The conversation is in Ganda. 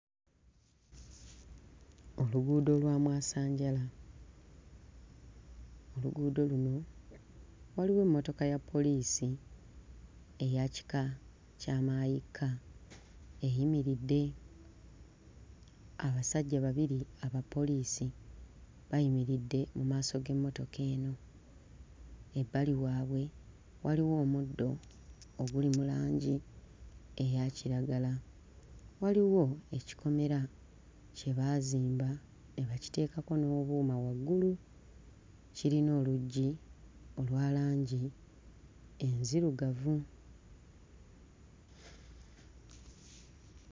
Oluguudo lwa mwasanjala. Oluguudo luno waliwo emmotoka ya poliisi eya kika kya mmaayikka, eyimiridde. Abasajja babiri abapoliisi bayimiridde mu maaso g'emmotoka eno. Ebbali waabwe waliwo omuddo oguli mu langi eya kiragala, waliwo ekikomera kye baazimba ne bakiteekako n'obuuma waggulu, kirina oluggi olwa langi enzirugavu.